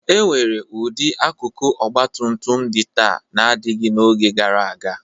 E nwere ụdị akụkụ ọgbatutum dị taa adịghị n'oge gara aga.